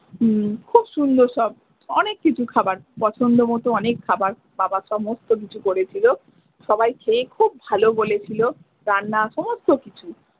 খুব সুন্দর সব অনেক কিছু খাবার পছন্দ মতো অনেক খাবার বাবা সমস্ত কিছু করেছিলো সবাই খেয়ে খুব ভালো বলেছিলো রান্না সমস্ত কিছু।